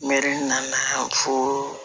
Mɛri nana yan fɔ